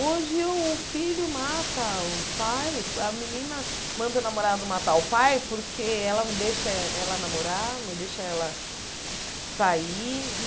Hoje o filho mata o pai, a menina manda o namorado matar o pai porque ela não deixa ela namorar, não deixa ela sair.